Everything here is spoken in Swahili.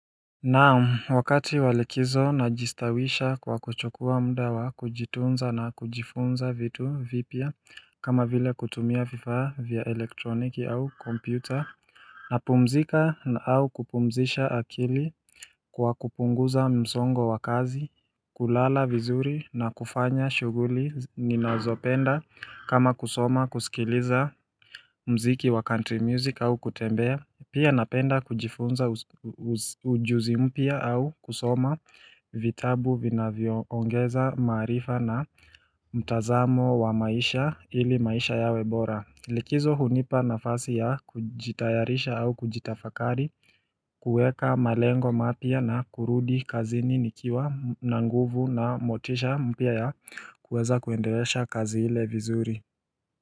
Naam wakati walikizo najistawisha kwa kuchokua mda wa kujitunza na kujifunza vitu vifaa kama vile kutumia vifa vya elektroniki au kompyuta napumzika na au kupumzisha akili kwa kupunguza msongo wa kazi kulala vizuri na kufanya shuguli ninazopenda kama kusoma kusikiliza mziki wa country music au kutembea Pia napenda kujifunza ujuzi mpya au kusoma vitabu vinavyoongeza marifa na mtazamo wa maisha ili maisha yawebora Likizo hunipa nafasi ya kujitayarisha au kujitafakari kuweka malengo mapya na kurudi kazini nikiwa na nguvu na motisha mpya ya kuweza kuendeleza kazi ile vizuri.